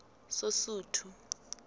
sosuthu